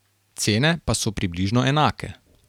Cene pa so približno enake.